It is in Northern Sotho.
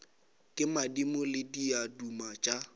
ke madimo le diaduma tša